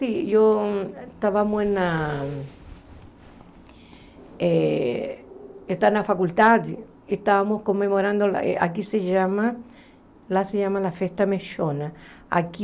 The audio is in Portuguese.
E eu estavamos na eh estava na faculdade, estávamos comemorando, a que se chama, lá se chama Festa Mexona, aqui